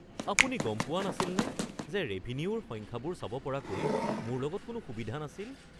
আপুনি গম পোৱা নাছিলনে যে ৰেভিনিউৰ সংখ্যাবোৰ চাব পৰাকৈ মোৰ লগত কোনো সুবিধা নাছিল?